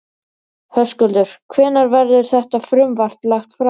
Höskuldur, hvenær verður þetta frumvarp lagt fram?